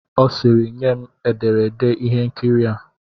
Ọ sịịrị, nye m ederede ihe nkiri a!